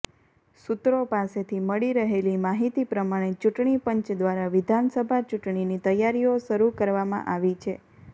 સૂત્રો પાસેથી મળી રહેલી માહિતી પ્રમાણે ચૂંટણીપંચ દ્વારા વિધાનસભા ચૂંટણીની તૈયારીઓ શરૂ કરવામાં આવી છે